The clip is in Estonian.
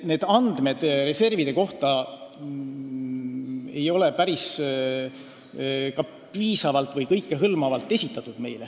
Need andmed reservide kohta ei ole päris piisavalt või kõikehõlmavalt esitatud.